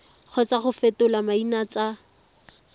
kgotsa go fetola maina tsa